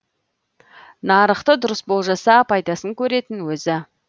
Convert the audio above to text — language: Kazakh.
нарықты дұрыс болжаса пайдасын көретін өзі